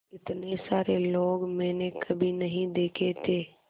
इतने सारे लोग मैंने कभी नहीं देखे थे